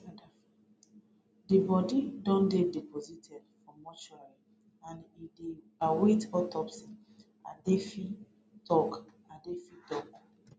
di bodi don dey deposited for mortuary and e dey await autopsy edafe tok edafe tok